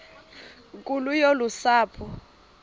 nkulu yolu sapho